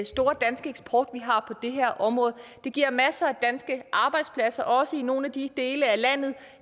store danske eksport vi har det her område det giver masser af danske arbejdspladser også i nogle af de dele af landet